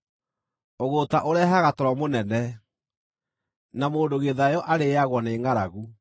Ũgũũta ũrehaga toro mũnene, na mũndũ gĩthayo arĩĩagwo nĩ ngʼaragu.